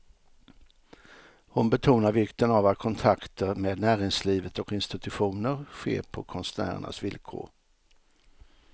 Hon betonar vikten av att kontakter med näringslivet och institutioner sker på konstnärernas villkor.